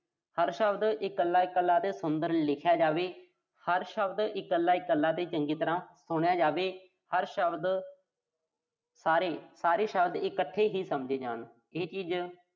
ਹਰ ਸ਼ਬਦ ਇਕੱਲਾ-ਇਕੱਲਾ ਅਤੇ ਸੁੰਦਰ ਲਿਖਿਆ ਜਾਵੇ। ਹਰ ਸ਼ਬਦ ਇਕੱਲਾ-ਇਕੱਲਾ ਤੇ ਚੰਗੀ ਤਰ੍ਹਾਂ ਸੁਣਿਆ ਜਾਵੇ। ਹਰ ਸ਼ਬਦ ਸਾਰੇ, ਸਾਰੇ ਸ਼ਬਦ ਇਕੱਠੇ ਹੀ ਸਮਝੇ ਜਾਣ। ਇਹ ਚੀਜ਼